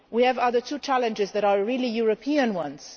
We have two other challenges that are really European ones.